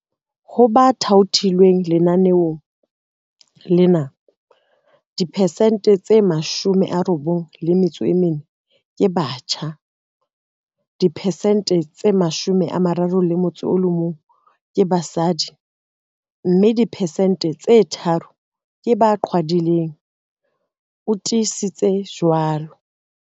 Ho ba thaothilweng lenaneong lena, diphesente tse 94 ke batjha, diphesente 31 ke basadi mme diphesente tse tharo ke ba qhwadileng, o tiisitse jwalo.